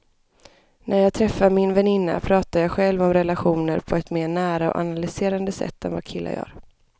När jag träffar min väninna pratar jag själv om relationer på ett mer nära och analyserande sätt än vad killar gör.